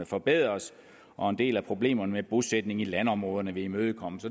forbedres og en del af problemerne med bosætning i landområderne vil imødekommes